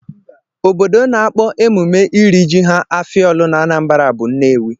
Obodo na-akpọ emume iri ji ha afia ọlụ n'Anambra bụ Nnewi